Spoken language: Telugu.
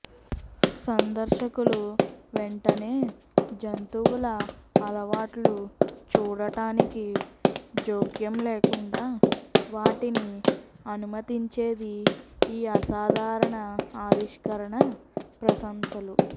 సందర్శకులు వెంటనే జంతువుల అలవాట్లు చూడటానికి జోక్యం లేకుండా వాటిని అనుమతించేది ఈ అసాధారణ ఆవిష్కరణ ప్రశంసలు